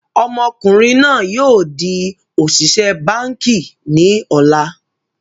Ọmọkùnrin náà yìí o di òṣìṣẹ́ báànkì ni ọ̀la